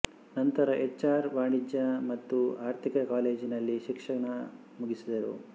ನಂತರ H R ವಾಣಿಜ್ಯ ಮತ್ತು ಆರ್ಥಿಕ ಕಾಲೇಜಿನಲ್ಲಿ ಶಿಕ್ಶಣ ಮುಗಿಸಿದರು